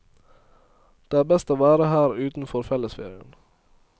Det er best å være her utenfor fellesferien.